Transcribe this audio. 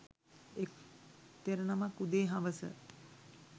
එක් තෙරනමක් උදේ හවස